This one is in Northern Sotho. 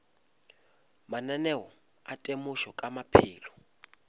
mananeo a temošo ka maphelo